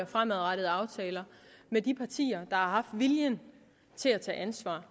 og fremadrettede aftaler med de partier har haft viljen til at tage ansvar